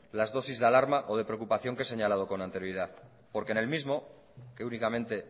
las dosis de alarma o de preocupación que he señalado con anterioridad porque en el mismo que únicamente